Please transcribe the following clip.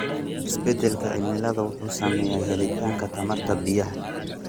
Isbeddelka cimilada wuxuu saameeyaa helitaanka tamarta biyaha.